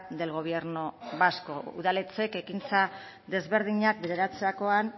del gobierno vasco udaletxeek ekintza desberdinak bideratzerakoan